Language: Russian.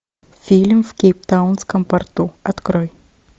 фильм в кейптаунском порту открой